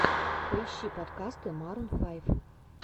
поищи подкасты марун файв